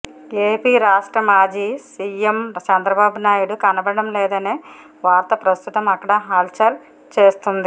AP రాష్ట్ర మాజీ CM Chandrababu Naidu కనబడటం లేదనే వార్త ప్రస్తుతం అక్కడ హల్చల్ చేస్తోంది